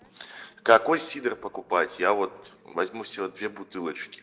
какой сидр покупать я вот возьму себе две